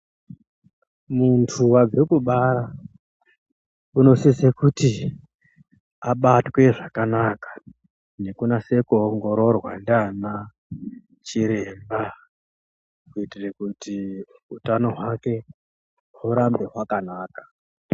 Muntu wabve kubara unosise kuti abatwe zvakanaka nekunase kuongororwa ndiana chiremba kuitire kuti utano hwake hurambe hwakanaka.